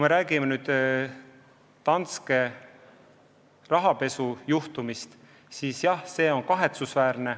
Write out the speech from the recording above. Mis puutub Danske rahapesujuhtumisse, siis jah, see on kahetsusväärne.